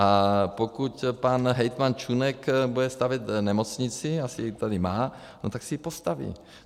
A pokud pan hejtman Čunek bude stavět nemocnici, asi ji tady má, no tak si ji postaví.